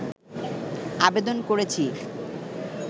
আবেদন করেছি